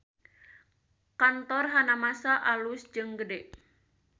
Kantor Hanamasa alus jeung gede